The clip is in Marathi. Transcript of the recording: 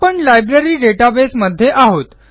आपण लायब्ररी डेटाबेस मध्ये आहोत